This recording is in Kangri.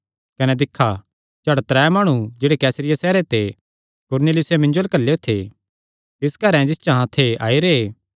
कने दिक्खा झट त्रै माणु जेह्ड़े कैसरिया सैहरे ते कुरनेलियुसे मिन्जो अल्ल घल्लेयो थे तिस घरैं जिस च अहां थे आई रैह्